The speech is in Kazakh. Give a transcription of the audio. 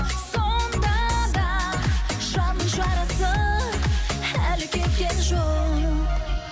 сонда да жанның жарасы әлі кеткен жоқ